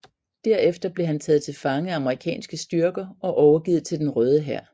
Derefter blev han taget til fange af amerikanske styrker og overgivet til den Røde Hær